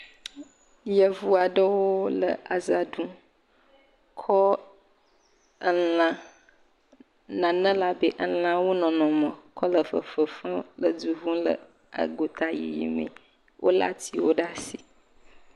Yevu aɖewo le aza ɖum. Kɔ ela nane le abe elãwo nɔnɔme kɔ le fefem le du ŋum le agota yi mee. Wo le atiwo ɖe asi.